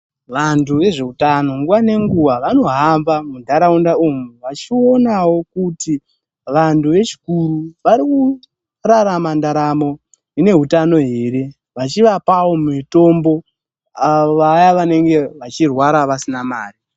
Vantu vezvehutano nguwa ngenguwa vanohamba mundaraunda umu vachionawo kuti vantu zvechikuri vari kurarama ndaramo ine hutano here vachivapawo mitombo vaya vanenge vachirwara vasina mari.